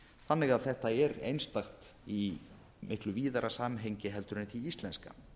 þannig að þetta er einstakt í miklu víðara samhengi heldur en því íslenska